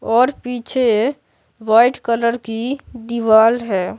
और पीछे white colour की दीवाल है।